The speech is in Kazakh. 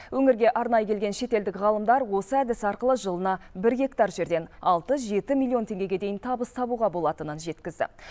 өңірге арнайы келген шетелдік ғалымдар осы әдіс арқылы жылына бір гектар жерден алты жеті миллион теңгеге дейін табыс табуға болатынын жеткізді